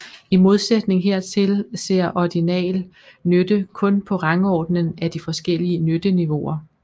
I modsætning hertil ser ordinal nytte kun på rangordningen af de forskellige nytteniveauer